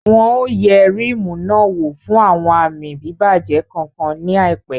Wọn ò yẹ Ríímù náà wò fún àwọn àmì bíbàjẹ́ kankan ní àìpẹ́